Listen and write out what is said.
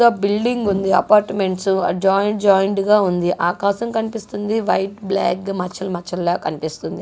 ద్ద building ఉంది apartments ఆ joint joint గా ఉంది ఆకాశం కనిపిస్తుంది వైట్ బ్లాక్ గా మచ్చలు మచ్చలు లా కనిపిస్తుంది.